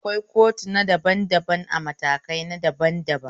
Akwai kotuna daban daban a matakai daban daban